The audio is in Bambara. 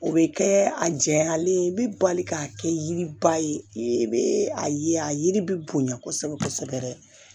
O bɛ kɛ a jɛyalen ye i bɛ bali ka kɛ yiriba ye i bɛ a ye a yiri bɛ bonya kosɛbɛ kosɛbɛ yɛrɛ